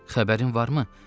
Xəbərin varmı?